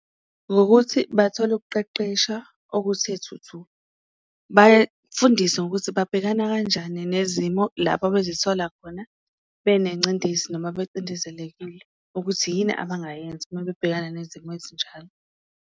Ngokuthi bathole ukuqeqesha okuthe thuthu. Bafundise ngokuthi babhekana kanjani nezimo lapha bezithola khona benencindezi noma bacindezelekile, ukuthi yini abangayenza uma bebhekana nezimo ezinjalo.